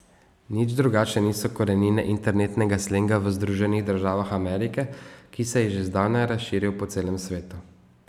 Nič drugačne niso korenine internetnega slenga v Združenih državah Amerike, ki se je že zdavnaj razširil po celemu svetu.